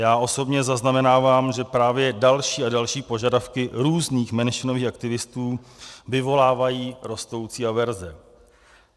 Já osobně zaznamenávám, že právě další a další požadavky různých menšinových aktivistů vyvolávají rostoucí averze.